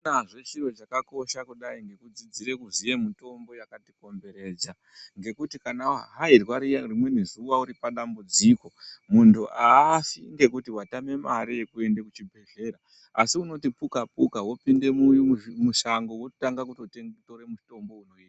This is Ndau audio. Akunazve chiro chaka kosha kudai neku dzidzire kuziye mutombo yakati komberedza ngekuti kana wa hayirwa riya rimweni zuva uri pa dambudziko munhu aafi ngekuti watame mari yeku ende ku chibhedhleya asi unoti puka puka wopinde musango woto tange kutora mitombo inoita.